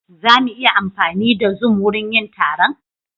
Za mu iya amfani da zoom wurin yin taron?